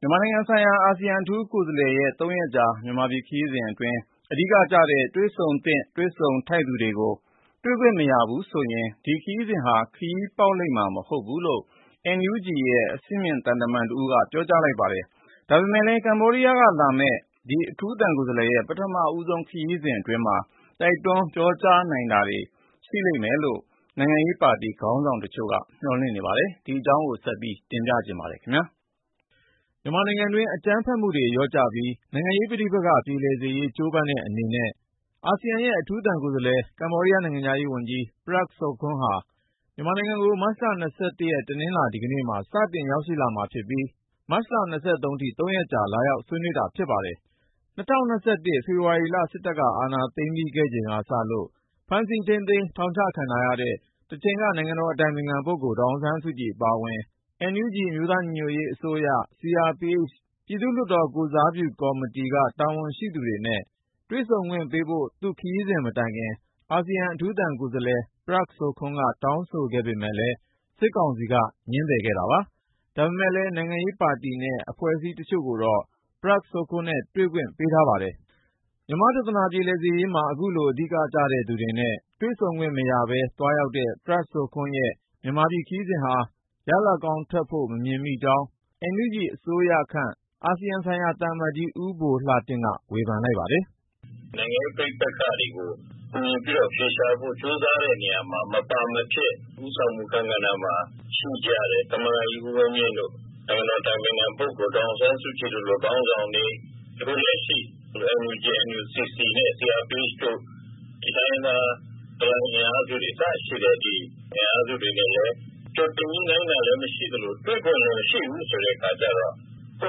မြန်မာနိုင်ငံဆိုင်ရာ အာဆီယံ အထူးသံကိုယ်စားလှယ်ရဲ့ ၃ ရက်ကြာ မြန်မာပြည်ခရီးစဉ်အတွင်း အဓိကကျတဲ့ တွေ့ဆုံသင့် တွေ့ဆုံထိုက်သူတွေကို တွေ့ခွင့်မရဘူးဆိုရင် ဒီခရီးစဉ်ဟာ ခရီးပေါက်လိမ့်မှာ မဟုတ်ဘူးလို့ NUG အမျိုးသားညီညွတ်ရေးအစိုးရ အဆင့်မြင့်သံတမန်တဦးက ပြောကြားလိုက်ပါတယ်။ ဒါပေမယ့်လည်း ကမ္ဘောဒီးယားကလာမယ့် ဒီအထူးသံကိုယ်စားလှယ်ရဲ့ ပထမဆုံး ခရီးစဉ်အတွင်း တိုက်တွန်းပြောကြားနိုင်တာတွေ ရှိတယ်လို့ နိုင်ငံရေးပါတီ ခေါင်းဆောင်တချို့က မျှော်လင့်ထားပါတယ်။ ဒီအကြောင်း ကိုဉာဏ်ဝင်းအောင်က တင်ပြထားပါတယ်။ မြန်မာနိုင်ငံတွင်း အကြမ်းဖက်မှုတွေ လျော့ကျပြီး နိုင်ငံရေးပဋိပက္ခ ပြေလည်စေရေး ကြိုးပမ်းတဲ့အနေနဲ့ အာဆီယံရဲ့ အထူးသံကိုယ်စားလှယ်၊ ကမ္ဘောဒီးယား နိုင်ငံခြားရေးဝန်ကြီး Prak Sokhonn ဟာ မြန်မာနိုင်ငံကို မတ်လ ၂၁ ရက် တနင်္လာနေ့မှာ စတင်ရောက်ရှိမှာဖြစ်ပြီး မတ်လ ၂၃ ရက်အထိ ၃ ရက်ကြာ လာရောက် ဆွေးနွေးတာ ဖြစ်ပါတယ်။ ၂၀၂၁ ဖေဖော်ဝါရီလ စစ်တပ်က အာဏာသိမ်းခဲ့ပြီးချိန်ကစလို့ ဖမ်းဆီးထိန်းသိမ်း ထောင်ချခံထားရတဲ့ တချိန်က နိုင်ငံတော်အတိုင်ပင်ခံပုဂ္ဂိုလ် ဒေါ်အောင်ဆန်းစုကြည် အပါအဝင် NUG အမျိုးသားညီညွတ်ရေးအစိုးရ၊ CRPH လွှတ်တော်ကိုယ်စားပြု ကော်မတီက တာဝန်ရှိသူတွေနဲ့ တွေ့ဆုံခွင့်ပေးဖို့ သူ့ခရီးစဉ်မတိုင်ခင် အာဆီယံ အထူးသံကိုယ်စားလှယ် Prak Sokhonn က တောင်းဆိုခဲ့ပေမယ့်လည်း စစ်ကောင်စီက ငြင်းပယ်ခဲ့တာပါ။ ဒါပေမယ့်လည်း နိုင်ငံရေးပါတီနဲ့ အဖွဲ့အစည်း တချို့ကိုတော့ Prak Sokhonn နဲ့ တွေ့ခွင့် ပေးထားပါတယ်။ မြန်မာ့ပြဿနာ ပြေလည်စေရေးမှာ အခုလို အဓိကကျတဲ့သူတွေနဲ့ တွေ့ဆုံခွင့်မရဘဲ သွားရောက်တဲ့ Prak Sokhonn ရဲ့ မြန်မာပြည်ခရီးစဉ်ဟာ ရလဒ်ကောင်းထွက်လာဖို့ မမြင်မိကြောင်း NUG အစိုးရခန့် အာဆီယံဆိုင်ရာ သံအမတ်ကြီး ဦးဘိုလှတင့်က ဝေဖန်လိုက်ပါတယ်။ “နိုင်ငံရေး ပဋိပက္ခတွေကို ကူညီပြီးတော့ အြဖေရှာဖို့ ကြိုးစားတဲ့နေရာမှာ မပါမဖြစ် ဦးဆောင်မှု အခန်းကဏ္ဍမှာ ရှိကြတဲ့ သမ္မတကြီး ဦးဝင်းမြင့်တို့၊ နိုင်ငံတော်အတိုင်ပင်ခံပုဂ္ဂိုလ် ဒေါ်အောင်ဆန်းစုကြည်တို့လို ခေါင်းဆောင်တွေ၊ အခုလက်ရှိ NUG, NUCC နဲ့ CRPH တို့၊ တိုင်းရင်းသား တော်လှန်ရေး အင်အားစုတွေ အစရှိတဲ့ အင်အားစုတွေနဲ့လည်း ကြိုတင်ညှိနှိုင်းတာလည်း မရှိသလို တွေ့ခွင့်လည်းမရှိဘူး ဆိုတဲ့အခါကြတော့ ပွ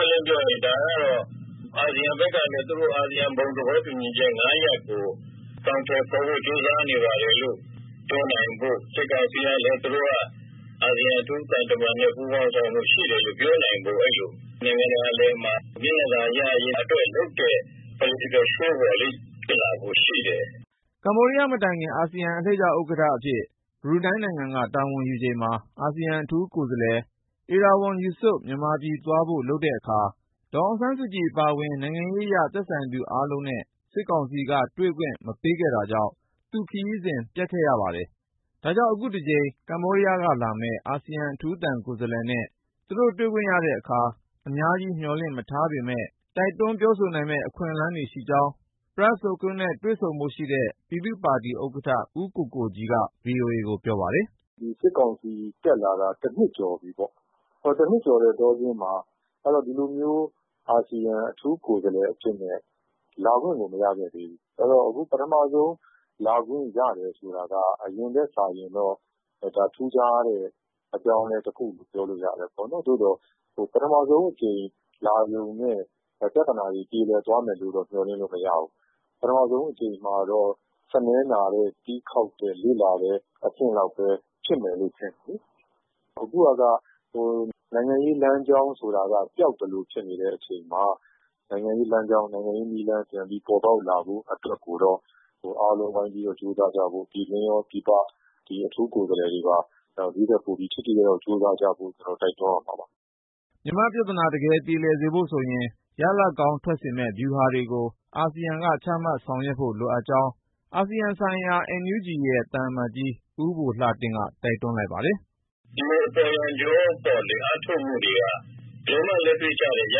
င့်ပွင့်လင်းလင်း ပြောရရင် ဒါကတော့ အာဆီယံဘက်ကလည်း သူတို့ အာဆီယံ ဘုံသဘောတူညီချက် ၅ ရပ်ကို အကောင်အထည်ဖော်ဖို့ ကြိုးစားနေပါတယ်လို့ ပြောနိုင်ဖို့၊ စစ်ကောင်စီကလည်း သူတို့က အာဆီယံ အထူးသံတမန်နဲ့ ပူးပေါင်းဆောင်ရွက်မှု ရှိတယ်လို့ ပြောနိုင်ဖို့၊ အဲဒီလို နိုင်ငံတကာအလယ်မှာ မျက်နှာသာရရေးအတွက် လုပ်တဲ့ Political Show ပေါ့လေ၊ ဖြစ်လာဖို့ရှိတယ်။” ကမ္ဘောဒီးယားမတိုင်ခင် အာဆီယံအလှည့်ကျ ဥက္ကဋ္ဌအဖြစ် ဘရူနိုင်းနိုင်ငံက တာဝန်ယူချိန်မှာ အာဆီယံ အထူးကိုယ်စားလှယ် Erywon Yusof မြန်မာပြည်သွားဖို့ လုပ်တဲ့အခါ ဒေါ်အောင်ဆန်းစုကြည် အပါအဝင် နိုင်ငံရေးအရ သက်ဆိုင်သူအားလုံးနဲ့ စစ်ကောင်စီက တွေ့ခွင့်မပေးတာကြောင့် သူ့ခရီးစဉ် ပျက်ခဲ့ရပါတယ်။ ဒါကြောင့် အခုတကြိမ် ကမ္ဘောဒီးယားကလာမယ့် အာဆီယံ အထူးသံကိုယ်စားလှယ်နဲ့ သူတို့ တွေ့ခွင့်ရတဲ့အခါ အများကြီး မျှော်လင့်မထားပေမယ့် တိုက်တွန်းပြောဆိုနိုင်မယ့် အခွင့်အရေးရှိကြောင်း Prak Sokhonn နဲ့ တွေ့ဆုံဖို့ရှိတဲ့ ပြည်သူ့ပါတီဥက္ကဋ္ဌ ဦးကိုကိုကြီးက ဗွီအိုအေကို ပြောပါတယ်။ “စစ်ကောင်စီ တက်လာတာ တနှစ်ကျော်ပြီပေါ့၊ တနှစ်ကျော်တဲ့ အတောအတွင်းမှာ ဒီလိုမျိုး အာဆီယံ အထူးကိုယ်စားလှယ် အဖြစ်နဲ့ လာခွင့်ကို မရခဲ့သေးဘူး။ အဲဒီတော့ အခု ပထမဆုံး လာခွင့်ရတယ်ဆိုတာက အရင်ထက်စာရင်တော့ ဒါ ထူးခြားတဲ့ အပြောင်းအလဲတခုလို့ ပြောလို့ရတယ်။ သို့သော် ပထမဆုံးအကြိမ် လာရုံနဲ့ ပြဿနာတွေ ပြေလည်သွားမယ်လို့တော့ မျှော်လင့်လို့မရဘူး။ ပထမဆုံးအကြိမ်မှာတော့ စနည်းနာတဲ့၊ တီးခေါက်တဲ့၊ လေ့လာတဲ့ အဆင့်လောက်ပဲ ဖြစ်မယ်လို့ထင်တယ်။ အခုဟာက နိုင်ငံရေးလမ်းကြောင်း ဆိုတာက ပျောက်သလိုဖြစ်နေတဲ့ အချိန်မှာ နိုင်ငံရေးလမ်းကြောင်း၊ နိုင်ငံရေးနည်းလမ်း ပြန်ပြီး ပေါ်ပေါက်လာဖို့အတွက်ကိုတော့ အားလုံးဝိုင်းပြီး ကြိုးစားကြဖို့၊ ပြည်တွင်းရော ပြည်ပ အထူးကိုယ်စားလှယ်တွေပါ ဒီ့ထက်ပိုပြီး ထိထိရောက်ရောက် ကြိုးစားကြဖို့ တိုက်တွန်းရမှာပါ။” မြန်မာ့ပြဿနာ တကယ်ပြေလည်စေဖို့ဆိုရင် ရလဒ်ကောင်းထွက်စေမယ့် ဗျူဟာတွေကို အာဆီယံက ချမှတ်ဆောင်ရွက်ဖို့ လိုကြောင်းလည်း အာဆီယံဆိုင်ရာ NUG ရဲ့ သံအမတ်ကြီး ဦးဘိုလှတင့်က တိုက်တွန်းလိုက်ပါတယ်။ “ဒီလို အပေါ်ယံကြော အားထုတ်မှုတွေက ဘယ်လိုမှ လက်တွေ့ကျတဲ့ ရ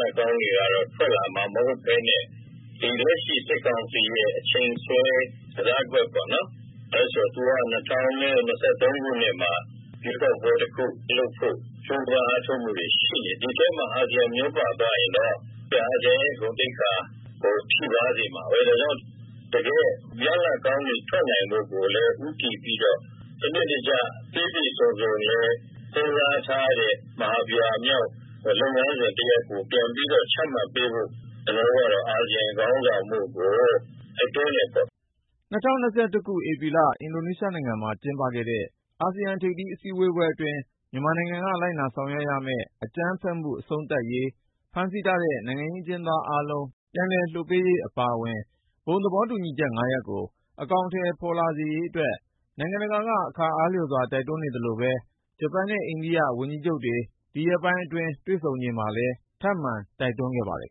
လဒ်ကောင်းတွေ ထွက်လာမှာ မဟုတ်ဘဲနဲ့ လက်ရှိ စစ်ကောင်စီရဲ့ အချိန်ဆွဲ ကစားကွက်ပေါ့၊ ဘာလို့လဲဆိုတော့ သူက ၂၀၂၃ ခုနှစ်မှာ ရွေးကောက်ပွဲတခုလုပ်ဖို့ ကြိုးပမ်းအားထုတ်မှုတွေ ရှိနေတယ်။ ဒီထဲမှာ အာဆီယံ မျောပါသွားရင်တော့ အာဆီယံရဲ့ ဂုဏ်သိက္ခာကို ထိပါးစေမှာပဲ။ ဒါကြောင့် တကယ့် ရလဒ်ကောင်းတွေ ထွက်နိုင်ဖို့ကိုလည်း ဦးတည်ပြီးတော့ စနစ်တကျ ပြည့်ပြည့်စုံစုံလည်း စဉ်းစားထားတဲ့ မဟာဗျူဟာမြောက် လုပ်ငန်းစဉ်တရပ် ပြန်ပြီးတော့ ချမှတ်ပေးဖို့ ကျနော်တို့ကတော့ အာဆီယံခေါင်းဆောင်မှုကို တိုက်တွန်းတယ်ပေါ့။” ၂၀၂၁ ခု ဧပြီလ အင်ဒိုနီးရှားနိုင်ငံမှာ ကျင်းပခဲ့တဲ့ အာဆီယံ ထိပ်သီး အစည်းအဝေးပွဲအတွင်း မြန်မာနိုင်ငံက လိုက်နာဆောင်ရွက်ရမယ့် အကြမ်းဖက်မှု အဆုံးသတ်ရေး၊ ဖမ်းဆီးထားတဲ့ နိုင်ငံရေးအကျဉ်းသားအားလုံး ပြန်လွှတ်ပေးရေး အပါအဝင် ဘုံသဘောတူညီချက် ၅ ရပ်ကို အကောင်ထည် ဖော်လာစေရေးအတွက် နိုင်ငံတကာက အခါအားလျော်စွာ တိုက်တွန်းနေသလို ဂျပန်နဲ့ အိန္ဒိယ ဝန်ကြီးချုပ်တွေ ဒီရက်ပိုင်းအတွင်း တွေ့ဆုံချိန်မှာလည်း ထပ်မံတိုက်တွန်းခဲ့ပါတယ်